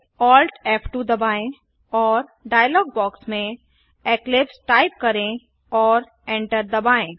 Alt F2 दबाएं और dialog box में इक्लिप्स टाइप करें और एंटर दबाएं